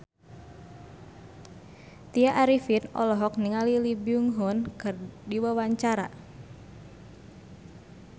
Tya Arifin olohok ningali Lee Byung Hun keur diwawancara